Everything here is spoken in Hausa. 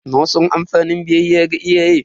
Na san amfani biyayya ga iyaye.